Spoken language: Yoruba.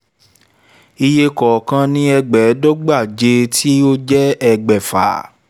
iye kọ̀ọ̀kan ní ẹ̀ẹ́dẹ́gbẹ̀jọ tí ó jẹ́ ẹgbàáfà